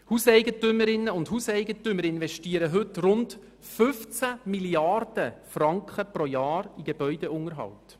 Hauseigentümerinnen und Hauseigentümer investieren heute rund 15 Mrd. Franken jährlich in den Gebäudeunterhalt.